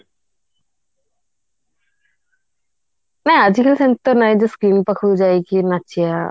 ନା ଆଜି କାଲି ସେମିତି ତ ନାଇଁ ଯେ screen ପାଖକୁ ଯାଇକି ନାଚିବା